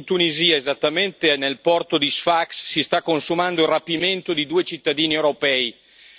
In Tunisia, esattamente nel porto di Sfax, si sta consumando il rapimento di due cittadini europei,